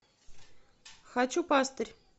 хочу пастырь